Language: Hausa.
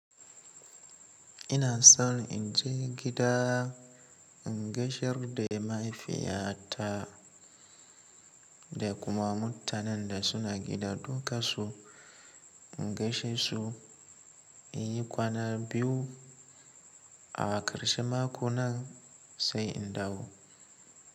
Ina so in je gida in gaishe da mahaifiyata da kuma mutanen da suna gida. Dukansu in gaishe su, in yi kwana biyu a ƙarshen mako nan sai in dawo.